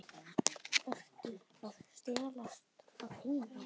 Ertu að stelast að heiman?